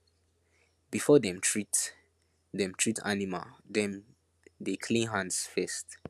before dem treat dem treat animal dem dey clean hands first